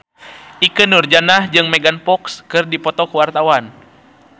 Ikke Nurjanah jeung Megan Fox keur dipoto ku wartawan